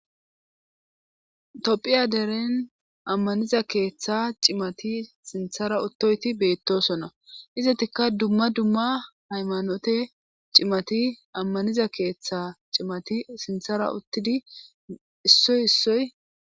tophpphiya deren ammaniza keeththa cimati sinththara uttoyti beettosona izetikka dumma dumma haymanote cimati ammaniza keeththa cimati sinthara uttidi issoy issoy